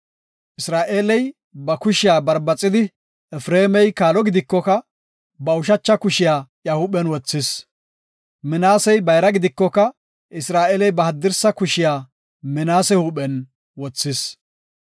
Isra7eeley ba kushiya barbaxidi Efreemi kaalo gidikoka, ba ushacha kushiya huuphen wothis. Minaasey bayra gidikoka, Isra7eeley ba haddirsa kushiya Minaase huuphen wothis.